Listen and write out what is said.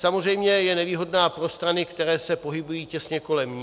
Samozřejmě je nevýhodná pro strany, které se pohybují těsně kolem ní.